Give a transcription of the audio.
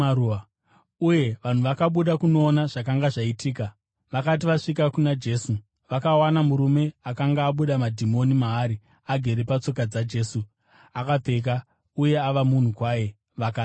uye vanhu vakabuda kunoona zvakanga zvaitika. Vakati vasvika kuna Jesu vakawana murume akanga abuda madhimoni maari, agere patsoka dzaJesu, apfeka uye ava munhu kwaye, vakatya.